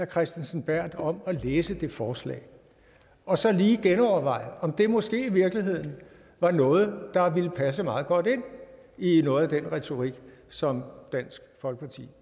kristensen berth om at læse det forslag og så lige genoverveje om det måske i virkeligheden var noget der ville passe meget godt ind i noget af den retorik som dansk folkeparti